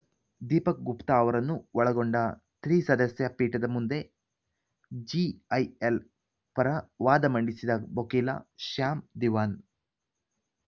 ದೀಪಕ್‌ ಗುಪ್ತಾ ಅವರನ್ನು ಒಳಗೊಂಡ ತ್ರಿಸದಸ್ಯ ಪೀಠದ ಮುಂದೆ ಜಿಐಎಲ್‌ ಪರ ವಾದ ಮಂಡಿಸಿದ ವಕೀಲ ಶ್ಯಾಮ್ ದಿವಾನ್‌